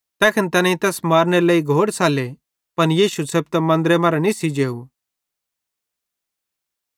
तैखन तैनेईं तैस मारनेरे लेइ घोड़ सल्ले पन यीशु छ़ेपतां मन्दरे मरां निस्सी जेव